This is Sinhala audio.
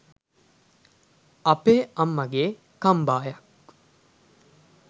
අපේ අම්මගේ කම්බායක්